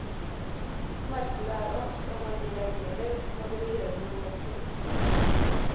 Markedet er oss, og når vi reagerer, må dere gjøre noe med produktet.